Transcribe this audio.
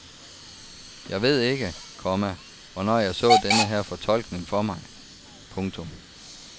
Jeg ved ikke, komma hvornår jeg så denne her fortolkning for mig. punktum